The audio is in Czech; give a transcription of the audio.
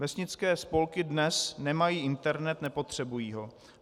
Vesnické spolky dnes nemají internet, nepotřebují ho.